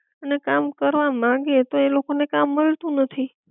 અને કામ કરવા માંગે તો એ લોકો ને કામ મળતું નથી